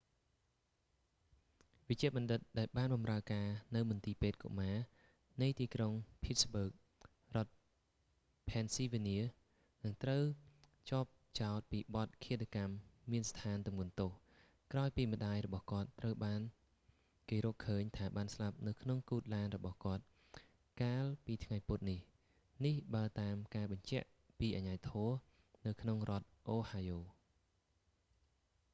វេជ្ជបណ្ឌិតដែលបានបម្រើការនៅមន្ទីរពេទ្យកុមារនៃទីក្រុងភីតស្ប៊ើក រដ្ឋផេនស៊ីវ៉ានៀ នឹងត្រូវជាប់ចោទពីបទឃាតកម្មមានស្ថានទម្ងន់ទោស ក្រោយពីម្ដាយរបស់គាត់ត្រូវបានគេរកឃើញថាបានស្លាប់នៅក្នុងគូទឡានរបស់គាត់កាលពីថ្ងៃពុធនេះ នេះបើតាមការបញ្ជាក់ពីអាជ្ញាធរនៅក្នុងរដ្ឋអូហាយ៉ូ